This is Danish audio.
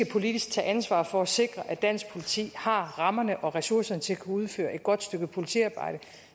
politisk til ansvar for at sikre at dansk politi har rammerne og ressourcerne til at kunne udføre et godt stykke politiarbejde